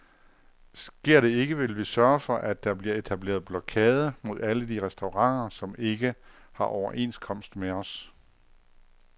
Sker det ikke, vil vi sørge for, at der bliver etableret blokade mod alle de restauranter, som ikke har overenskomst med os.